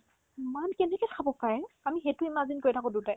ইম্মান কেনেকে খাব পাৰে আমি সেইটো imagine কৰি থাকো দুটাই